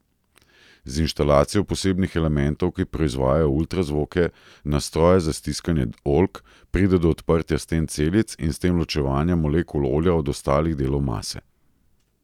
Z inštalacijo posebnih elementov, ki proizvajajo ultrazvoke, na stroje za stiskanje oljk, pride do odprtja sten celic in s tem ločevanja molekul olja od ostalih delov mase.